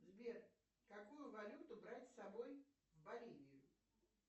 сбер какую валюту брать с собой в боливию